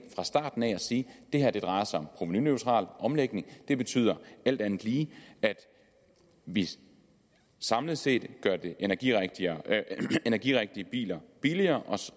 fra starten af at sige at det her drejer sig om en provenuneutral omlægning det betyder alt andet lige at vi samlet set gør de energirigtige energirigtige biler billigere